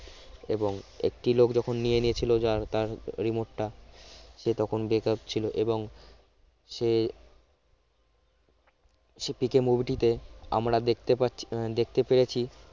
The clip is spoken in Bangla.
এবং একটি লোক যখন নিয়ে নিয়েছিল যার তার remote টা সে তখন বেকার ছিল এবং সে সে পিকে movie টিতে আমরা দেখতে পাচ্ছি আহ দেখতে পেরেছি